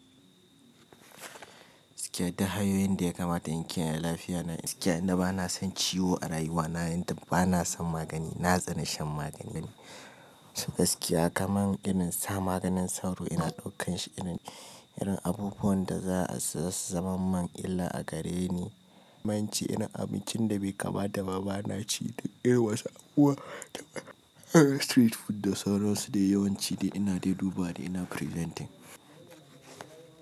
Gaskiya duk hanyoyin da ya kamata in kiyaye lafiyana, gaskiya inda bana son ciwo a rayuwana, yanda bana son magani, na tsani shan magani. Gaskiya kaman irin sa maganin sauro ina ɗaukan shi irin, irin abubuwan da za a siya su zaman man illa a gare ni. Nance irin abincin da bai kamata ma bana ci duk dai wasu abubuwa da street food da sauransu du yawanci dai ina dai dubawa ina preventing.